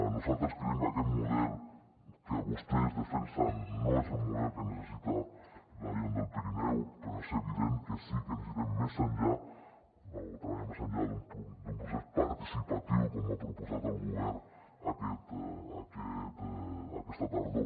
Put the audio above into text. nosaltres creiem que aquest model que vostès defensen no és el model que necessita la gent del pirineu però és evident que sí que necessitem treballar més enllà d’un procés participatiu com ha proposat el govern aquesta tardor